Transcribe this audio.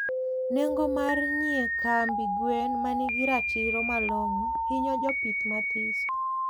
nengo mar nyie chiemb gwen manigi ratiro malongo hinyo jopith mathiso